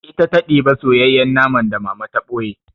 Ita ta ɗiba soyayyen naman da Mama to ɓoye.